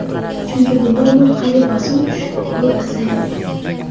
Chunki bunda umurtqaga bosim tushib, bo‘y pasaymaydi.